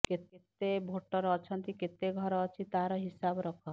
କେତେ ଭୋଟର ଅଛନ୍ତି କେତେ ଘର ଅଛି ତାହାର ହିସାବ ରଖ